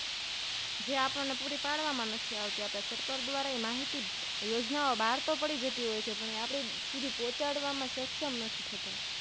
જે આપણે પૂરી પાડવામા નથી આવતી સરકાર દ્રારા માહિતી યોજના ઓ બારતો પડી જતી હોય છે પણ આપણા સુધી પોહ્ચાડ વામાં સક્ષમ નથી